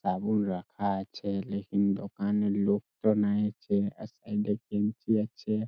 সাবুন রাখা আছে | লেকিন দোকানে লোক তো নাইয়াছে সাইড -এ বেঞ্চি আছে।